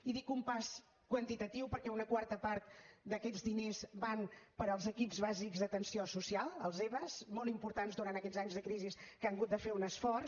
i dic un pas quantitatiu perquè una quarta part d’aquests diners van per als equips bàsics d’atenció social els eba molt importants durant aquests anys de crisi que han hagut de fer un esforç